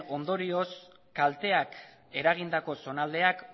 ondorioz kalteak eragindako zonaldeak